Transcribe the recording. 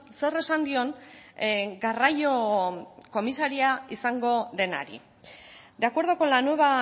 zer esan dion garraio komisaria izango denari de acuerdo con la nueva